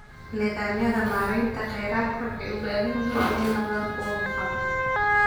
Nidaamyada maareynta kheyraadka waxay u baahan yihiin inay noqdaan kuwo hufan.